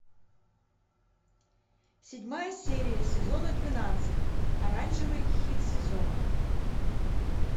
седьмая серия сезона двенадцать оранжевый хит сезона